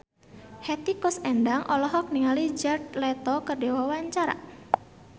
Hetty Koes Endang olohok ningali Jared Leto keur diwawancara